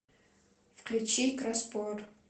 включи краспор